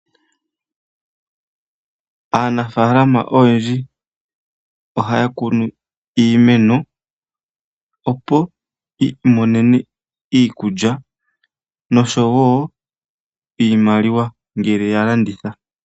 Aanafaalama oyendji ohaya kunu iimeno opo yi imonene iikulya noshowo iimaliwa ngele ya landitha.